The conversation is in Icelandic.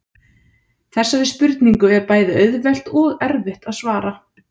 þessari spurningu er bæði auðvelt og erfitt að svara